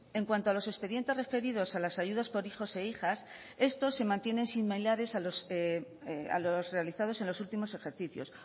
en cuanto a los expedientes referidos a las ayudas por hijos e hijas estos se mantienen similares a los realizados en los últimos ejercicios